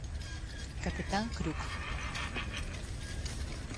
капитан крюк